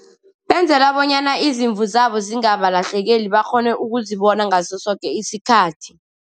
Benzela bonyana izimvu zabo zingaba ulahlekeli, bakghone ukuzibona ngaso soke isikhathi.